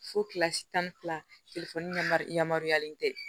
Fo kilasi tan ni fila yamaruyalen tɛ